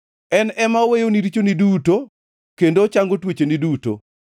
en ema oweyoni richoni duto kendo ochango tuocheni duto,